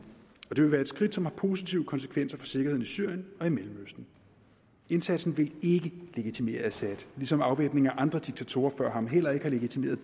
og det vil være et skridt som har positive konsekvenser for sikkerheden i syrien og i mellemøsten indsatsen vil ikke legitimere assad ligesom afvæbningen af andre diktatorer før ham heller ikke har legitimeret